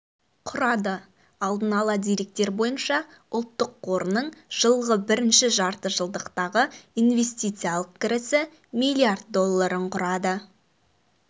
құрады алдын ала деректер бойынша ұлттық қорының жылғы бірінші жартыжылдықтағы инвестициялық кірісі миллиард долларын құрады